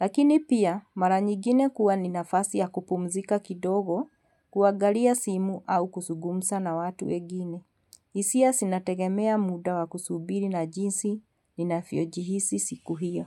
Lakini pia, maranyigine kuwa ni nafasi ya kupumzika kidogo, kuagalia simu au kusugumsa na watu wegini. Hisia sinategemea muda wa kusubiri na jinsi ni nafyo jihisi siku hiyo.